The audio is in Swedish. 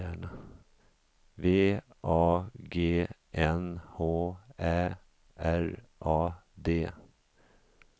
V A G N H Ä R A D